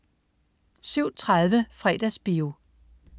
07.30 Fredagsbio